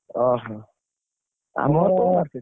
ଓହୋ,